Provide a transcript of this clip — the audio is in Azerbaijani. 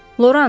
Loran!